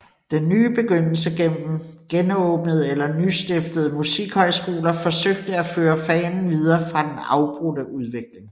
Den nye begyndelse gennem genåbnede eller nystiftede musikhøjskoler forsøgte at føre fanen videre fra den afbrudte udvikling